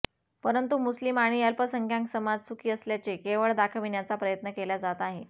परंतु मुस्लिम आणि अल्पसंख्याक समाज सुखी असल्याचे केवळ दाखविण्याचा प्रयत्न केला जात आहे